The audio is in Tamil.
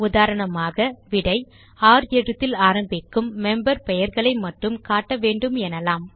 உதாரணமாக விடை ர் எழுத்தில் ஆரம்பிக்கும் மெம்பர் பெயர்களை மட்டும் காட்ட வேண்டும் எனலாம்